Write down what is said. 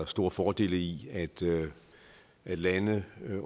store fordele i at lande